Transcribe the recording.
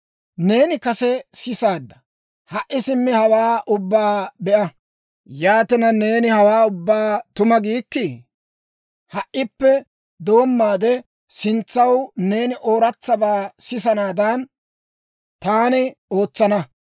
«Neeni kase sisaadda; ha"i simmi hawaa ubbaa be'a. Yaatina, neeni hawaa ubbaa tuma giikkii? Ha"ippe doommaade sintsaw neeni ooratsabaa sisanaadaan, taani ootsana.